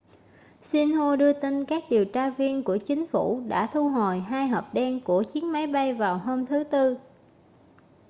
xinhua đưa tin các điều tra viên của chính phủ đã thu hồi hai hộp đen' của chiếc máy bay vào hôm thứ tư